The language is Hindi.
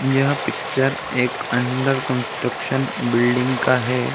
यह पिक्चर एक अंडर कंस्ट्रक्शन बिल्डिंग का है।